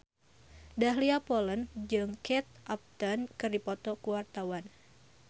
Dahlia Poland jeung Kate Upton keur dipoto ku wartawan